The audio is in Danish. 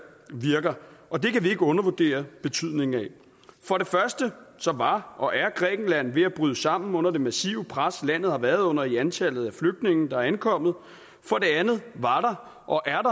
virker og det kan vi ikke undervurdere betydningen af for det første var og er grækenland ved at bryde sammen under det massive pres landet har været under af antallet af flygtninge der er ankommet for det andet var og er